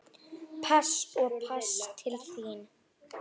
Pass og pass til þín.